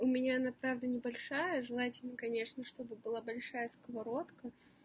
у меня она правда не большая желательно конечно чтобы была большая сковородка